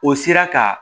O sera ka